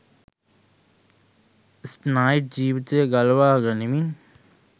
ස්නයිඞ් ජීවිතය ගලවා ගනිමින්